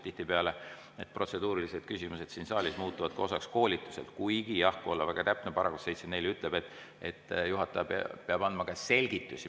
Tihtipeale need protseduurilised küsimused siin saalis muutuvad ka koolituse osaks, kuigi jah, kui olla väga täpne, § 74 ütleb, et juhataja peab andma ka selgitusi.